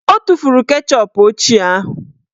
O tufuru keshọp ochie ahụ